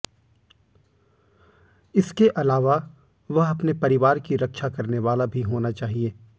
इसके अलावा वह अपने परिवार की रक्षा करने वाला भी होना चाहिए